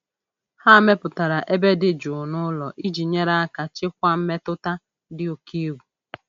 Ha mepụtara ebe dị jụụ n'ụlọ iji nyere aka chịkwaa mmetụta dị oke egwu.